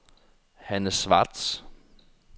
Hanne Schwartz